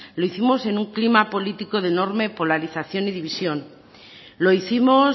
lo hicimos en un clima político de enorme polarización y división lo hicimos